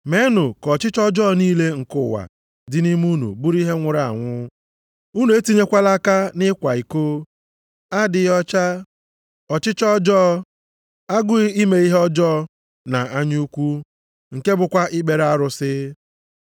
Meenụ ka ọchịchọ ọjọọ niile nke ụwa dị nʼime unu bụrụ ihe nwụrụ anwụ. Unu etinyekwala aka nʼịkwa iko, adịghị ọcha, ọchịchọ ọjọọ, agụụ ime ihe ọjọọ, na anya ukwu (nke bụkwa ikpere arụsị).